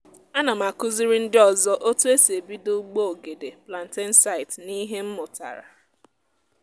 ana m akụziri ndị ọzọ otu e si ebido ugbo ogede plantain site n’ihe m mụtara.